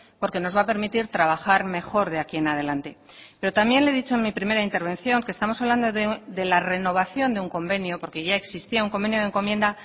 porque nos va a permitir trabajar mejor de aquí en adelante pero también le he dicho en mi primera intervención que estamos hablando de la renovación de un convenio porque ya existía un convenio de encomienda